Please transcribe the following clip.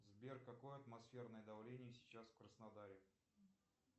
сбер какое атмосферное давление сейчас в краснодаре